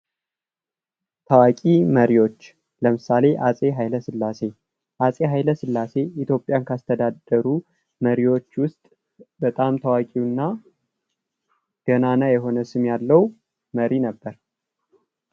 ታዋቂ መሪዎች ለምሳሌ አፄ ኃይለ ስላሴ አፄ ሃይለ ስላሴ ኢትዮጵያን ከአስተዳደሩ መሪዎቹ ውስጥ በጣም ታዋቂው እና ገናና የሆነ ስም ያለው መሪ ነበር።